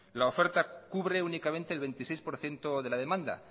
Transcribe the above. la oferta cubre únicamente el veintiséis por ciento de la demanda